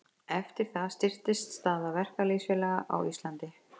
Eftir það styrktist staða verkalýðsfélaga á Íslandi.